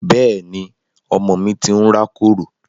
Bẹ́ẹ̀ni, ọmọ mi ti ń rákòrò